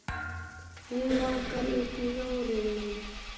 Mig langar í bjórinn minn!